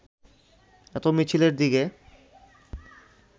এত মিছিলের দিকে